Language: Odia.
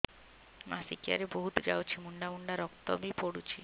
ମାସିକିଆ ରେ ବହୁତ ଯାଉଛି ମୁଣ୍ଡା ମୁଣ୍ଡା ରକ୍ତ ବି ପଡୁଛି